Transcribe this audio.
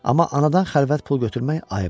Amma anadan xəlvət pul götürmək ayıbdır.